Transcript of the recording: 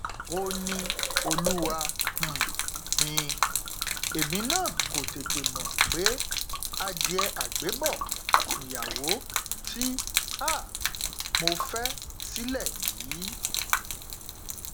ó ní olúwa um mi èmi náà kò tètè mọ pé adìẹ àgbébọ nìyàwó tí um mo fẹ sílẹ yìí